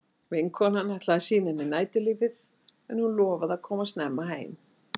Vinkonan ætlaði að sýna henni næturlífið en hún lofaði að koma snemma heim.